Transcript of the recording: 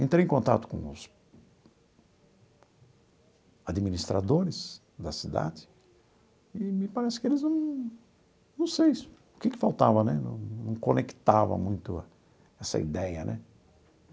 Entrei em contato com os administradores da cidade e me parece que eles não... não sei o que que faltava né, não conectava muito essa ideia né.